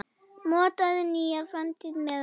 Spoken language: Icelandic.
Mótaðu nýja framtíð með okkur!